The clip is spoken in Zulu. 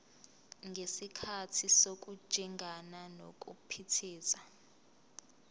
ngesikhathi sokujingana nokuphithiza